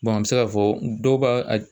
an bɛ se k'a fɔ dɔw ba a